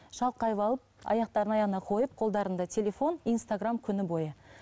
шалқайып алып аяқтарын аяғына қойып қолдарында телефон инстаграмм күні бойы